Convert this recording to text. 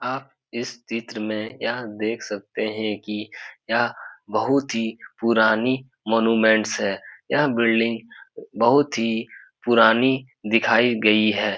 आप इस चित्र में यह देख सकते हैं की यह बहुत ही पुरानी मॉन्यूमेंट्स है यह बिल्डिंग बहुत ही पुरानी दिखाई गई है।